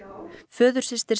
föðursystir